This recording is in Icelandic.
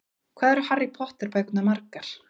Hvað eru Harry Potter bækurnar margar?